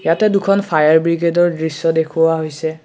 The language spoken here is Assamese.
ইয়াতে দুখন ফায়াৰ ব্ৰিগেডৰ দৃশ্য দেখুওৱা হৈছে।